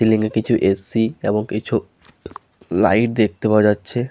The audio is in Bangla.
সিলিং -এ কিছু এ.সি. এবং কিছু লাইট দেখতে পাওয়া যাচ্ছে--